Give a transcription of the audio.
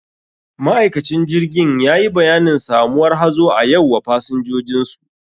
Ma'aikacin jirgin yayi bayanin samuwar hazo a yau wa pasinjinsu.